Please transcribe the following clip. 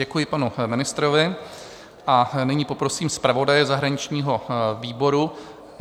Děkuji panu ministrovi a nyní poprosím zpravodaje zahraničního výboru.